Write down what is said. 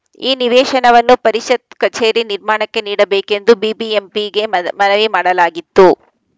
ಈ ನಿವೇಶನವನ್ನು ಪರಿಷತ್‌ ಕಚೇರಿ ನಿರ್ಮಾಣಕ್ಕೆ ನೀಡಬೇಕೆಂದು ಬಿಬಿಎಂಪಿಗೆ ಮನ್ ಮನವಿ ಮಾಡಲಾಗಿತ್ತು